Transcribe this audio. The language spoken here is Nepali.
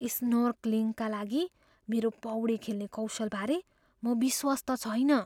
स्नोर्कलिङका लागि मेरो पौडी खेल्ने कौशलबारे म विश्वस्त छैन।